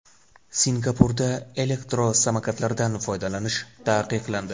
Singapurda elektrosamokatlardan foydalanish taqiqlandi.